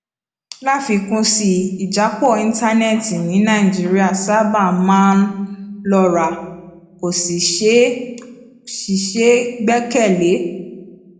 láfikún sí i ìjápọ íńtánéètì ní nàìjíríà sábà máa ń lọra kò sì ṣeé sì ṣeé gbẹkẹ lé